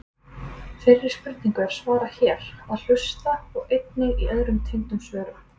Þeirri spurningu er svarað hér að hluta og einnig í öðrum tengdum svörum.